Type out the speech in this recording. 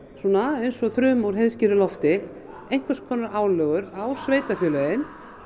eins og þruma úr heiðskíru lofti einhvers konar álögur á sveitarfélögin og